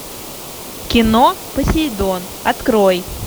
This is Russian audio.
кино посейдон открой